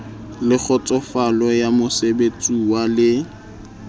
le kgotsofalo ya mosebeletsuwa le